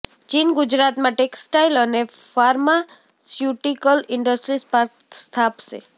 ચીન ગુજરાતમાં ટેક્સટાઈલ અને ફાર્માસ્યુટીકલ ઈન્ડસ્ટ્રીઝ પાર્ક સ્થાપશે